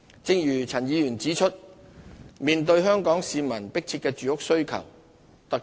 正如陳議員指出，香港市民有迫切的住屋需求。